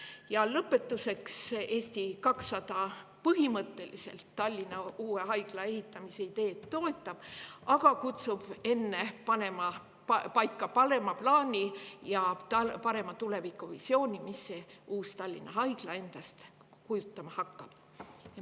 Ja lõpetuseks, Eesti 200 põhimõtteliselt toetab Tallinna uue haigla ehitamise ideed, aga kutsub enne paika panema plaani ja paremat tulevikuvisiooni, mis see Tallinna Haigla endast kujutama hakkab.